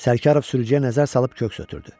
Sərkarov sürücüyə nəzər salıb köks ötrdü.